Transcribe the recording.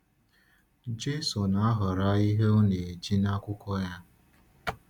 Jésù na-ahọrọ ihe ọ na-eji n’akwụkwọ ya.